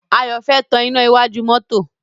Ayọ̀ fẹ́ tan iná iwájú mọ́tọ́.